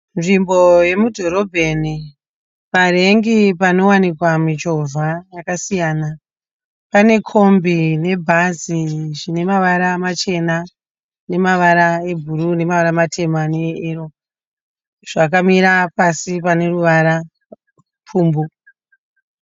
Nzvimbo yemudhorobheni, parank panowanikwa michovha yakasiyana, pane kombi nebhazi zvine mavara machena, nemavara ebrue nemavara matema ne eero, zvakamira pasi pane ruvara pfumbwu.